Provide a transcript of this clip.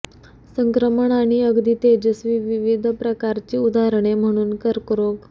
संक्रमण आणि अगदी तेजस्वी विविध प्रकारची उदाहरणे म्हणून कर्करोग